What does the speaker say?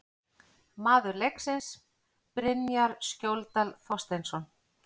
Maður leiksins: Brynjar Skjóldal Þorsteinsson